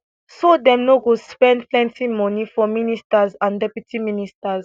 so dem no go spend plenti money for ministers and deputy ministers